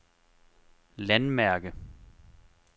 landmærke